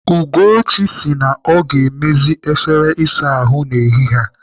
Ugochi sị na ọ ga-emezi efere ịsa ahụ n'ehihie a.